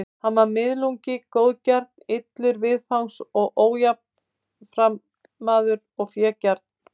Hann var miðlungi góðgjarn, illur viðfangs og ójafnaðarmaður og fégjarn.